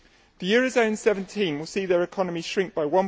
The eurozone 17 will see their economy shrink by